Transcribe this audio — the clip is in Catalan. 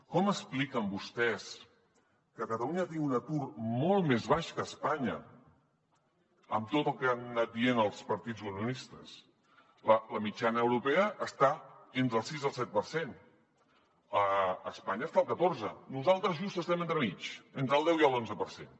com expliquen vostès que catalunya tingui un atur molt més baix que a espanya amb tot el que han anat dient els partits unionistes la mitjana europea està entre el sis i el set per cent espanya està al catorze nosaltres just estem entremig entre el deu i l’onze per cent